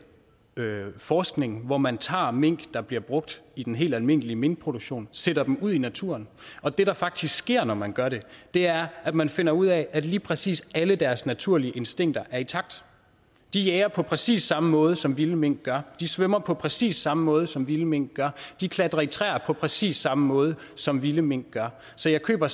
forskning hvor man tager mink der bliver brugt i den helt almindelige minkproduktion og sætter dem ud i naturen og det der faktisk sker når man gør det er at man finder ud af at lige præcis alle deres naturlige instinkter er intakte de jager på præcis samme måde som vilde mink gør de svømmer på præcis samme måde som vilde mink gør de klatrer i træer på præcis samme måde som vilde mink gør så jeg køber